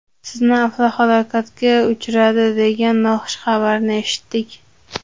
Sizni avtohalokatga uchradi degan noxush xabarni eshitdik.